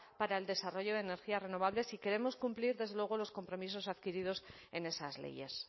para el desarrollo de energías renovables si queremos cumplir desde luego los compromisos adquiridos en esas leyes